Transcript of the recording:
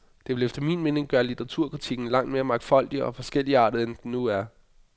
Dette vil efter min mening gøre litteraturkritikken langt mere mangfoldig og forskelligartet, end den er nu.